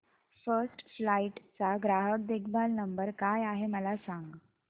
first flight चा ग्राहक देखभाल नंबर काय आहे मला सांग